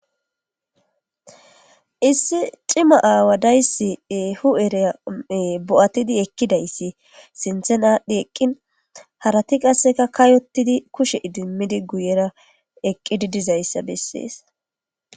Issi cima aawadayssi hu ereae bo'atidi ekkidayssi sinthen aadhdhi eqqin harati qasseka kayotidi kushe idimmidi guyera eqqidi dizayssa bessees.